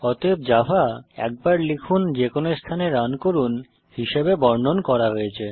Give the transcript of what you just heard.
অতএব জাভা একবার লিখুন যেকোনো স্থানে রান করুন হিসেবে বর্ণন করা হয়েছে